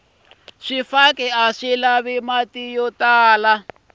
swifaki aswi lavi mati yo tala